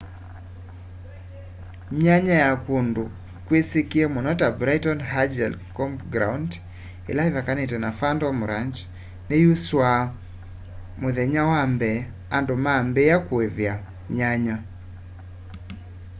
myanya ya kũndũ kwisikie mũno ta bright angel campground ila ivakene na phantom ranch ni yusuua mthenya wa mbee andũ maambia kuivia myanya